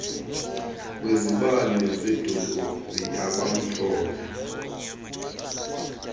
kwezibane zedolophu yabamhlophe